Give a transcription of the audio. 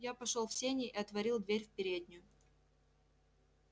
я пошёл в сени и отворил дверь в переднюю